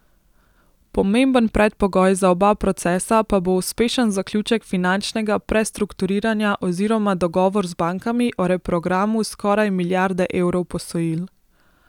Pomemben predpogoj za oba procesa pa bo uspešen zaključek finančnega prestrukturiranja oziroma dogovor z bankami o reprogramu skoraj milijarde evrov posojil.